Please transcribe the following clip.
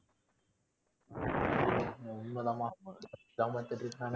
உண்மை தான்மா